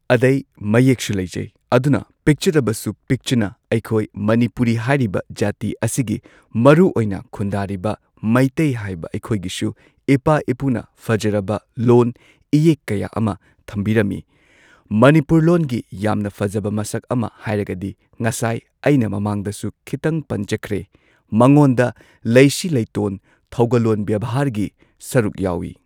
ꯑꯗꯩ ꯃꯌꯦꯛ ꯁꯨ ꯂꯩꯖꯩ ꯑꯗꯨꯅ ꯄꯤꯛꯆꯔꯕꯁꯨ ꯄꯤꯛꯆꯅ ꯑꯩꯈꯣꯏ ꯃꯅꯤꯄꯨꯔꯤ ꯍꯥꯏꯔꯤꯕ ꯖꯥꯇꯤ ꯑꯁꯤꯒꯤ ꯃꯔꯨꯑꯣꯏꯅ ꯈꯨꯟꯗꯥꯔꯤꯕ ꯃꯩꯇꯩ ꯍꯥꯏꯕ ꯑꯩꯈꯣꯏꯒꯤꯁꯨ ꯏꯄꯥ ꯏꯄꯨꯅ ꯐꯖꯔꯕ ꯂꯣꯟ ꯏꯌꯦꯛ ꯀꯌꯥ ꯑꯃ ꯊꯝꯕꯤꯔꯝꯃꯤ꯫ ꯃꯅꯤꯄꯨꯔ ꯂꯣꯟꯒꯤ ꯌꯥꯝꯅ ꯐꯖꯕ ꯃꯁꯛ ꯑꯃ ꯍꯥꯏꯔꯒꯗꯤ ꯉꯁꯥꯏ ꯑꯩꯅ ꯃꯃꯥꯡꯗꯁꯨ ꯈꯤꯇꯪ ꯄꯟꯖꯈ꯭ꯔꯦ ꯃꯉꯣꯟꯗ ꯂꯩꯁꯤ ꯂꯩꯇꯣꯟ ꯊꯧꯒꯂꯣꯟ ꯕꯦꯚꯥꯔꯒꯤ ꯁꯔꯨꯛ ꯌꯥꯎꯏ꯫